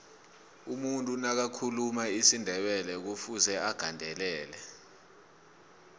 umuntu nakathuluma isindebelekufuze agandelele